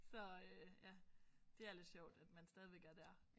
Så øh ja det er lidt sjovt at man stadigvæk er der